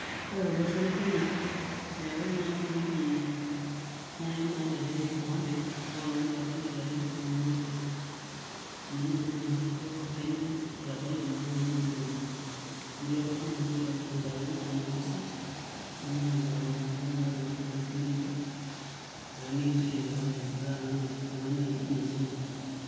Ore tolosho le kenya oree nayii oltung'ani nayii loishore enkipante naa oltung'ani oitabayie ilarin tomon oo isiet amu ninye najii ejo Kenya eitanayie naa ilarin ooyieuni natii oltung'ani olitabayie ilarin tomon ooisiet nemeeta enkipante naa tenebaki ilari tomon ooisiet nelep naa nikinchori enkipante amu itanaa naa oltung'ani musima.